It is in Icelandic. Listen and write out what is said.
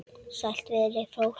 Sælt veri fólkið!